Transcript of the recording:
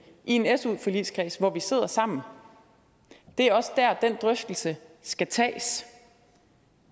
en su forligskreds hvor vi sidder sammen det er også der den drøftelse skal tages